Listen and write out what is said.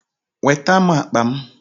Weta m akpa m!